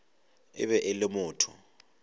e be e le motho